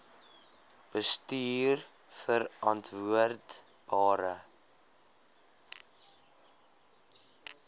bestuurverantwoordbare